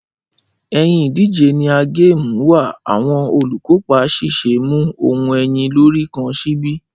Ẹyin ìdíje ni a game wà awọn olukopa ṣiṣe mu ohun ẹyin lori kan sibi